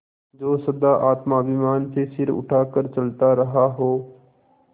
जो सदा आत्माभिमान से सिर उठा कर चलता रहा हो